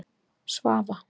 Svava